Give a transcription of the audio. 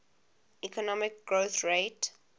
economic growth rate